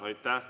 Aitäh!